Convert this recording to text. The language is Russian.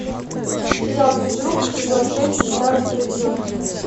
сериал физрук сезон шесть девятнадцатый эпизод